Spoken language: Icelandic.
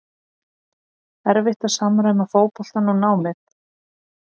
erfitt að samræma fótboltann og námið?